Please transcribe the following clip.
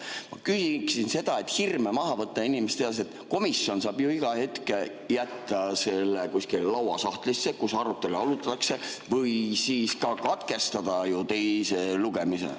Ma küsiksin, et hirme maha võtta ja et inimesed teaksid: komisjon saab ju iga hetk jätta selle kuskile lauasahtlisse, arutatakse, või siis saab katkestada teise lugemise.